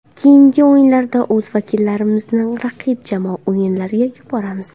Keyingi o‘yinlarda o‘z vakillarimizni raqib jamoa o‘yinlariga yuboramiz.